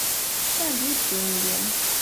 салют деньги